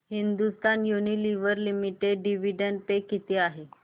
Hindustan Unilever limited dividend pay किती आहे